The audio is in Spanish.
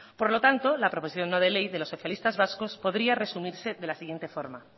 por lo tanto la proposición no de ley de los socialistas vascos podría resumirse de la siguiente forma